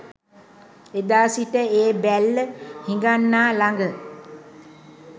එදා සිට ඒ බැල්ල හිඟන්නා ළඟ